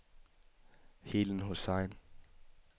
Helen Hussain